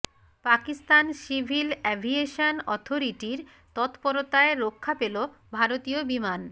Pakistan civil aviation অথরিটির তৎপরতায় রক্ষা পেল ভারতীয় বিমান